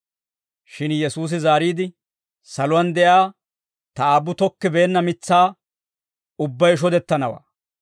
Shin Yesuusi zaariide, «Saluwaan de'iyaa ta Aabbu tokkibeenna mitsaa ubbay shodettanawaa.